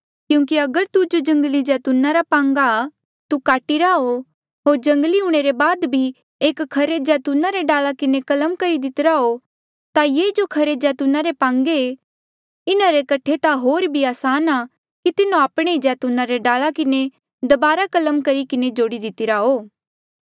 क्यूंकि अगर तू जो जंगली जैतूना रा पांगा आ तू काटीरा हो होर जंगली हूंणे रे बाद भी एक खरे जैतूना रे डाला किन्हें कलम करी दितिरा हो ता ये जो खरे जैतूना रे ही पांगे ऐें इन्हा रे कठे ता होर भी असान आ कि तिन्हो आपणे ई जैतूना रे डाला किन्हें दबारा कलम करही किन्हें जोड़ी दितिरा हो